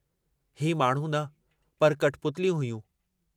हीउ माण्हू न पर कठपुतलियूं हुयूं।